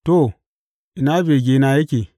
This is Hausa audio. To, ina begena yake?